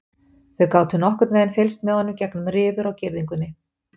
Þeir gátu nokkurn veginn fylgst með honum gegnum rifur á girðingunni.